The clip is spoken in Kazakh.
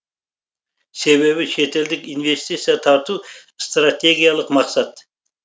себебі шетелдік инвестиция тарту стратегиялық мақсат